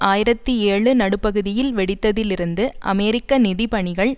ஆயிரத்தி ஏழு நடுப்பகுதியில் வெடித்ததில் இருந்து அமெரிக்க நிதி பணிகள்